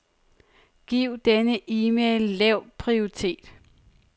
Giv denne e-mail lav prioritet.